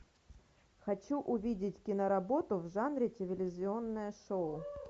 хочу увидеть киноработу в жанре телевизионное шоу